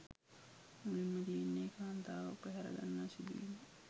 මුලින්ම තියෙන්නෙ කාන්තාවක් පැහරගන්නා සිදුවීමක්.